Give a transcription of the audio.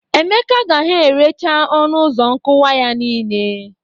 Emeka gaha erecha ọnụ ụzọ nkụwa ya niile.